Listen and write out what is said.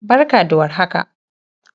Barka da warhaka